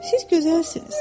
Siz gözəlsiniz.